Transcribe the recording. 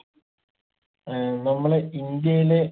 ഏർ നമ്മളെ ഇന്ത്യയിലെ